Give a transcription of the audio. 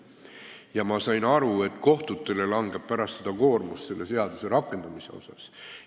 Ja ma sain aru, et kohtutele langeb pärast seda suur koorem selle seaduse rakendamise probleemide tõttu.